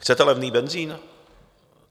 Chcete levný benzin?